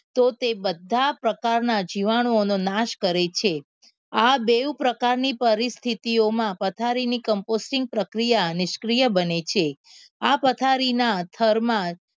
તો તે બધા પ્રકારના જીવાણુઓનો નાશ કરે છે આ બેઉ પ્રકારની પરિસ્થિતિ ઓ માં પથારીની કમ્પોસ્ટ્રીક પ્રક્રિયાની નીશક્રિયા બને છે આ પથારીના થરમાં